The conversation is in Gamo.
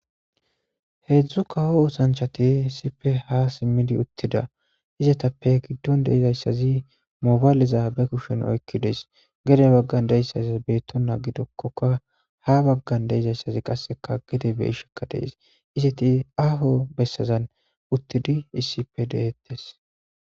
Heedzdzu kawo usanchati isipe ha simmidi uttida izetappe giddon deizayssazi mobaaliza be kushen oykki dees gede baggan deissayssas beettona gidokkoka ha baggan deizayssazi qasseka gede be ishekka dees izeti aaho bessazan uttidi issipe deettes.